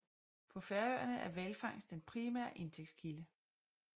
På Færøerne er hvalfangst den primære indtægtskilde